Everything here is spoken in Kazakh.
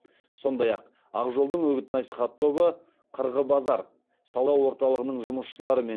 сондай ақ ақ жолдың үгіт насихат тобы қырғы базар сауда орталығының жұмысшыларымен